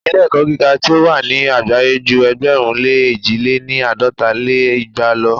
Ilé-ẹ̀kọ́ gíga tí o wà ni àgbáyé ju ẹgbẹ̀rún lé èjì lé ní àádọ́ta lé igba lo.